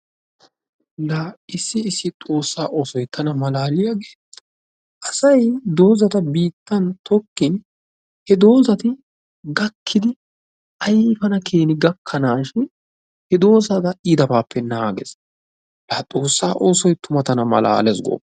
Laa issi issi xoossaa oosoy tana malaaliyagee, asay doozata biittan tokkin he doozati gakkidi ayfana gakkanaashin he doozata iitabaappe naagees. Laa xoossaabay tana malaalees.